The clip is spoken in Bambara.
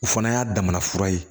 O fana y'a damana fura ye